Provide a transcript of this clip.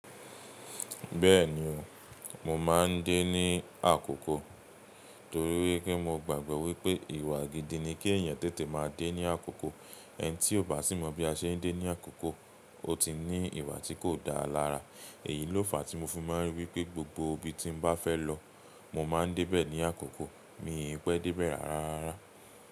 Bẹ́ẹ̀ni o, mo máa ń dé ní àkókò torí pé mo gbàgbọ́ wípé ìwà gidi ni kí èèyàn tètè máa dé ní àkókò. Ẹn tí ò bá sì mọ bí a ṣe ń dé ní àkókò, ó ti ní ìwà tí kò dáa lára. Èyí ló fàá tí mo fi ma n ripé gbogbo ibi tí n bá fẹ́ lọ, mo máa ń dé bẹ̀ ní àkókò. Mi in pẹ́ dé bẹ̀ rárá.